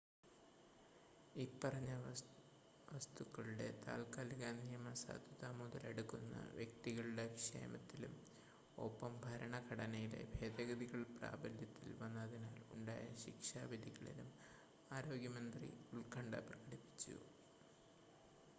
ഇപ്പറഞ്ഞ വസ്തുക്കളുടെ താത്ക്കാലിക നിയമസാധുത മുതലെടുക്കുന്ന വ്യക്തികളുടെ ക്ഷേമത്തിലും ഒപ്പം ഭരണഘടനയിലെ ഭേദഗതികൾ പ്രാബല്യത്തിൽ വന്നതിനാൽ ഉണ്ടായ ശിക്ഷാവിധികളിലും ആരോഗ്യമന്ത്രി ഉത്കണ്ഠ പ്രകടിപ്പിച്ചു